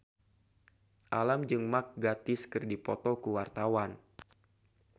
Alam jeung Mark Gatiss keur dipoto ku wartawan